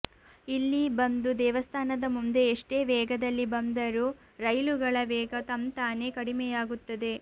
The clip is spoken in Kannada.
ಇಲ್ಲಿ ಬಂದು ದೇವಸ್ಥಾನದ ಮುಂದೆ ಎಷ್ಟೇ ವೇಗದಲ್ಲಿ ಬಂದರೂ ರೈಲುಗಳ ವೇಗ ತಂತಾನೆ ಕಡಿಮೆಯಾಗುತ್ತದೆ